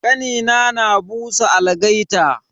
Kanina na busa algaita.